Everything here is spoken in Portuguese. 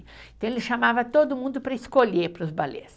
Então, ele chamava todo mundo para escolher para os balés.